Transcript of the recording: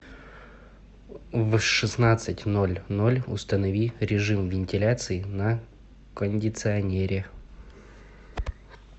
в шестнадцать ноль ноль установи режим вентиляции на кондиционере